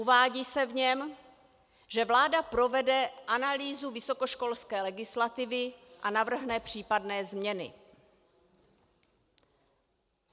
Uvádí se v něm, že vláda provede analýzu vysokoškolské legislativy a navrhne případné změny.